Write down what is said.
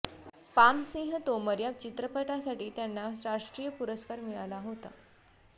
palm Singh Tomar या चित्रपटासाठी त्यांना राष्ट्रीय पुरस्कार मिळाला होता